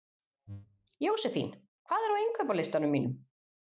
Jósefín, hvað er á innkaupalistanum mínum?